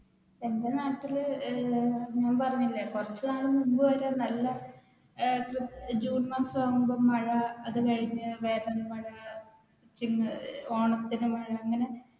എന്റെ നാട്ടിൽ ഞാൻ പറഞ്ഞില്ലേ കുറച്ചു നാൾ മുൻപ് വരെ നല്ല ജൂൺ മാസമാകുമ്പോൾ മഴ അത് കഴിഞ്ഞു വേനൽ മഴ പിന്നെ ഓണത്തിന്‌ മഴ അങ്ങനെ